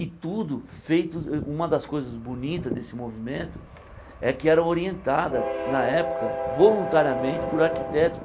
E tudo feito uh... Uma das coisas bonitas desse movimento é que era orientada, na época, voluntariamente, por arquitetos.